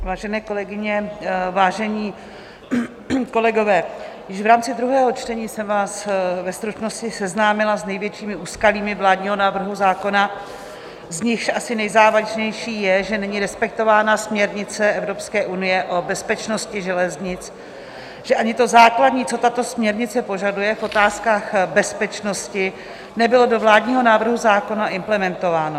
Vážené kolegyně, vážení kolegové, již v rámci druhého čtení jsem vás ve stručnosti seznámila s největšími úskalími vládního návrhu zákona, z nichž asi nejzávažnější je, že není respektována směrnice Evropské unie o bezpečnosti železnic, že ani to základní, co tato směrnice požaduje v otázkách bezpečnosti, nebylo do vládního návrhu zákona implementováno.